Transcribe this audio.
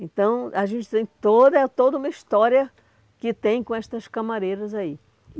Então, a gente tem toda, é toda uma história que tem com estas camareiras aí.